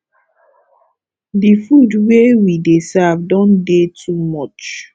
the food wey we dey serve don dey too much